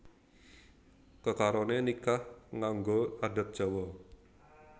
Kekaroné nikah nganggo adat Jawa